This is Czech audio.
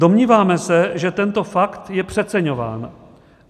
Domníváme se, že tento fakt je přeceňován.